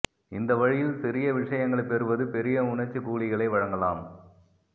இந்த வழியில் சிறிய விஷயங்களைப் பெறுவது பெரிய உணர்ச்சிக் கூலிகளை வழங்கலாம்